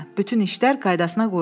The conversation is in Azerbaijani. Bütün işlər qaydasına qoyulub.